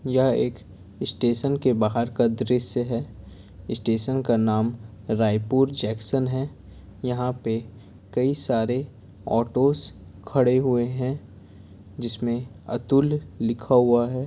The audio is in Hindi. यह एक स्टेशन के बाहर का दृश्य है स्टेशन का नाम रायपुर जैक्सन है यहाँ पे कई सारे ऑटोस खड़े हुए है जिसमें अतुल लिखा हुआ है।